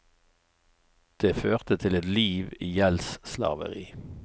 Det førte til et liv i gjeldsslaveri.